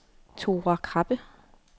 Thora Krabbe